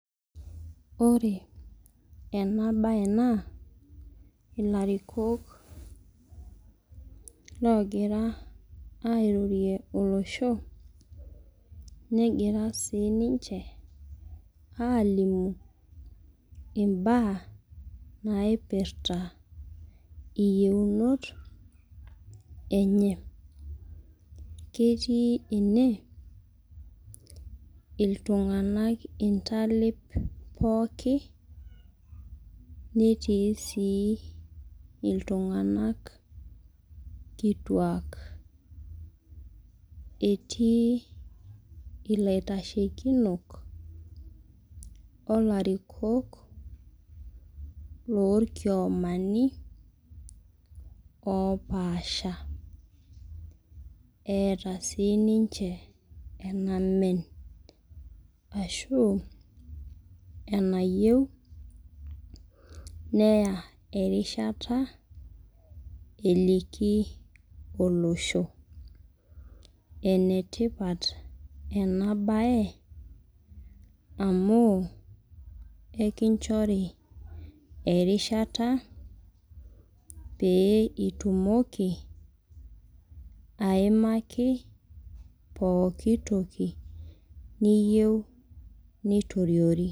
Ore ena bae naa ilarikok logira airorie olosho negira sii niche alimu imbaa naipirta iyiunot enye ketii ene iltung'anak intalip pooki netee sii iltung'anak kituak etii itaitashekinok oloarikok lolkiomani oo paasha eta sii ninche enamen ashuu enayiu neya erishata eliki olosho enetipat ena baye amu ekinchori erishata pee itumoki aimaki pooki toki niyiu nitoriori